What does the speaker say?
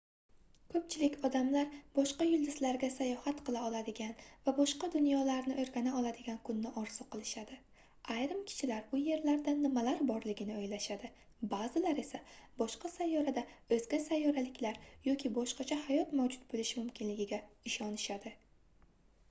koʻpchilik odamlar boshqa yulduzlarga sayohat qila oladigan va boshqa dunyolarni oʻrgana oladigan kunni orzu qilishadi ayrim kishilar u yerlarda nimalar borligini oʻylashadi baʼzilar esa boshqa sayyorada oʻzga sayyoraliklar yoki boshqacha hayot mavjud boʻlishi mumkinligiga ishonishadi